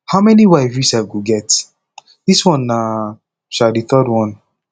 how many wife you sef go get dis one na um the third one